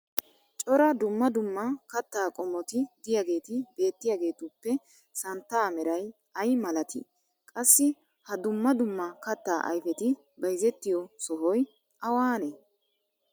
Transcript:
cora dumma dumma kattaa qommoti diyaageeti beettiyaageetuppe santtaa meray ay malatii? qassi ha dumma dumma kattaa ayfeti bayzzettiyo sohoy awaanee?